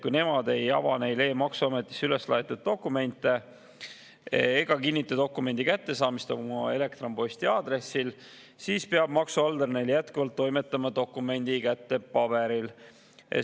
Kui nemad ei ava e-maksuametisse üles laetud dokumente ega kinnita dokumendi kättesaamist oma elektronposti aadressil, siis peab maksuhaldur neile jätkuvalt toimetama dokumendi kätte paberil.